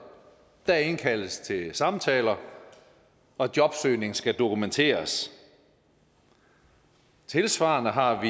der indkaldes til samtaler og jobsøgning skal dokumenteres tilsvarende har